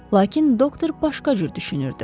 Lakin doktor başqa cür düşünürdü.